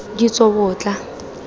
ditsobotla